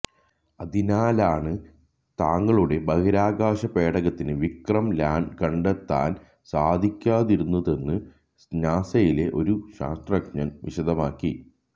അതിനാലാണ് തങ്ങളുടെ ബഹിരാകാശ പേടകത്തിന് വിക്രം ലാന്ര് കണ്ടെത്താന് സാധിക്കാതിരുന്നതെന്ന് നാസയിലെ ഒരു ശാസ്ത്രജ്ഞന് വിശദമാക്കി